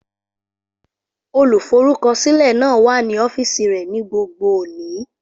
Olùforúkọsílẹ̀ náà wà ní ọ́fíìsì rẹ̀ ní gbogbo òní.